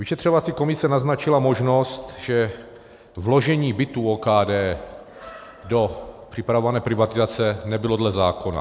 Vyšetřovací komise naznačila možnost, že vložení bytů OKD do připravované privatizace nebylo dle zákona.